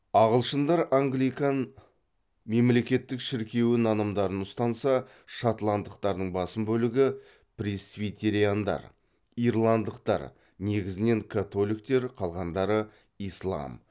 ағылшындар англикан мемлекеттік шіркеуі нанымдарын ұстанса шотландтықтардың басым бөлігі пресвитериандар ирландықтар негізінен католиктер қалғандары ислам